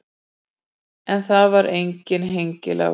En það var enginn hengilás.